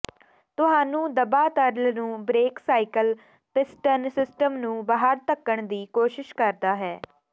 ਤੁਹਾਨੂੰ ਦਬਾ ਤਰਲ ਨੂੰ ਬ੍ਰੇਕ ਸਾਈਕਲ ਪਿਸਟਨ ਸਿਸਟਮ ਨੂੰ ਬਾਹਰ ਧੱਕਣ ਦੀ ਕੋਸ਼ਿਸ਼ ਕਰਦਾ ਹੈ